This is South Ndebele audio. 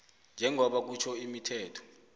njengoba kusitjho imithetho